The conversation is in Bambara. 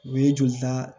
U ye jolita